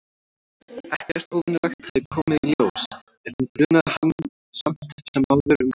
Ekkert óvenjulegt hafði komið í ljós- en hún grunaði hann samt sem áður um græsku.